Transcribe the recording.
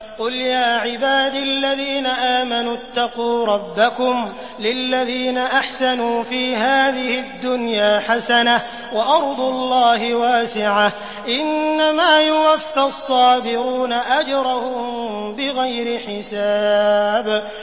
قُلْ يَا عِبَادِ الَّذِينَ آمَنُوا اتَّقُوا رَبَّكُمْ ۚ لِلَّذِينَ أَحْسَنُوا فِي هَٰذِهِ الدُّنْيَا حَسَنَةٌ ۗ وَأَرْضُ اللَّهِ وَاسِعَةٌ ۗ إِنَّمَا يُوَفَّى الصَّابِرُونَ أَجْرَهُم بِغَيْرِ حِسَابٍ